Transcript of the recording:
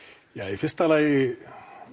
í fyrsta lagi